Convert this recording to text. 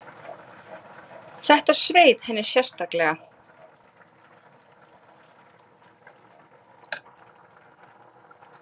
Þetta sveið henni sérstaklega.